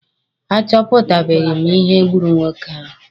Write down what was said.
A chọpụtabeghi m ihe gburu nwoke ahụ.